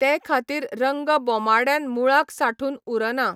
ते खातीर रंग बोमाड्यान मुळाक सांठून उरना.